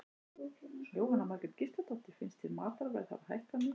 Jóhanna Margrét Gísladóttir: Finnst þér matarverð hafa hækkað mikið?